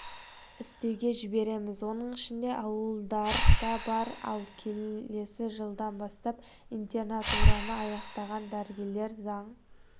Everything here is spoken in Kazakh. істеуге жібереміз оның ішінде ауылдар да бар ал келесі жылдан бастап интернатураны аяқтаған дәрігерлер заң